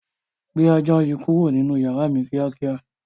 Gbé ajá yìí kúrò nínú yàrá mi ni kíákíá.